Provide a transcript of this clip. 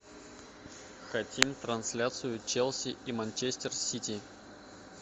хотим трансляцию челси и манчестер сити